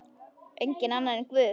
Enginn annar en Guð.